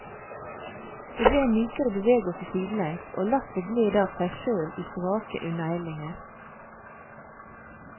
Det ble en mykere bevegelse sidelengs, og lasset gled av seg sjøl i svake unnahellinger.